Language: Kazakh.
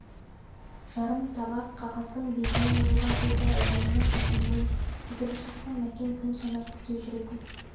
жарым табақ қағаздың бетіне жазылған сөзді әйгерімнің әкелуін қазіргі шақта мәкен күн санап күте жүретін